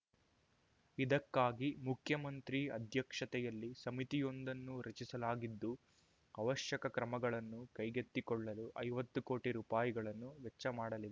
ಇದಕ್ಕಾಗಿ ಮುಖ್ಯಮಂತ್ರಿ ಅಧ್ಯಕ್ಷತೆಯಲ್ಲಿ ಸಮಿತಿಯೊಂದನ್ನು ರಚಿಸಲಾಗಿದ್ದು ಅವಶ್ಯಕ ಕ್ರಮಗಳನ್ನು ಕೈಗೆತ್ತಿಕೊಳ್ಳಲು ಐವತ್ತು ಕೋಟಿ ರೂಪಾಯಿಗಳನ್ನು ವೆಚ್ಚ ಮಾಡಲಿ